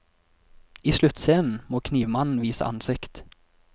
I sluttscenen må knivmannen vise ansikt.